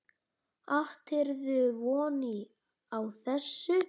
Áttirðu von á þessu?